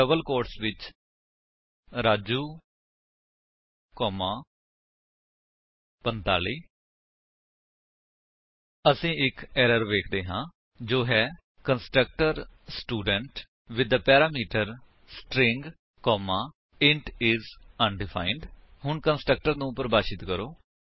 ਹੁਣ double quotes ਵਿੱਚ Raju comma 45 ਅਸੀ ਇੱਕ ਐਰਰ ਵੇਖਦੇ ਹਾਂ ਜੋ ਹੈ constructor student with the parameter string comma int is undefined ਹੁਣ ਕੰਸਟਰਕਟਰ ਨੂੰ ਪਰਿਭਾਸ਼ਿਤ ਕਰੋ